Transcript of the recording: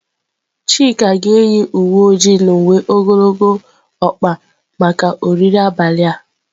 Chika ga-eyi uwe ojii na uwe ogologo ọkpa maka oriri abalị a.